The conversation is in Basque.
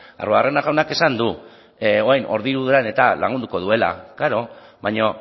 arruabarrena jaunak esan du orain eta lagunduko duela klaro baina